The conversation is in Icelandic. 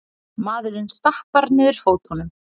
Maðurinn stappar niður fótunum.